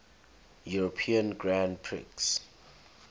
european grand prix